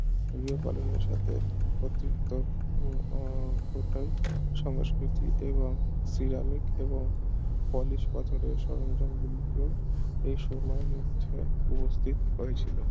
গৃহপালনের সাথে অতৃপ্ত ও উম পুরোটাই সংস্কৃতি এবং সিরামিক এবং পলিশ পাথরের সরঞ্জাম গুলিকে এই সময়ের মধ্যে উপস্থিত হয়েছিল